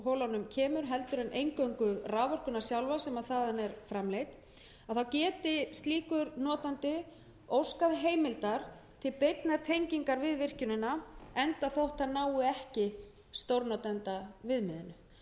holunum kemur heldur en eingöngu raforkuna sjálfa sem þaðan er framleidd þá geti slíkur notandi óskað heimildar til beinnar tengingar við virkjunina enda þótt það nái ekki stórnotandaviðmiðinu og þarna erum við í raun